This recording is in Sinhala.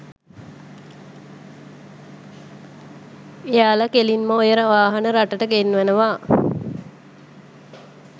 එයාලා කෙලින්ම ඔය වාහන රටට ගෙන්වනවා